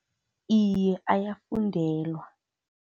Iye, ayafundelwa.